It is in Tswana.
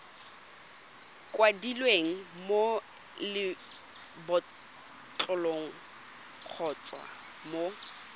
kwadilweng mo lebotlolong kgotsa mo